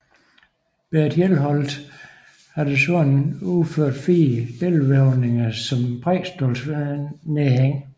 Berit Hjelholt har desuden udført fire billedvævninger som prædikestolsnedhæng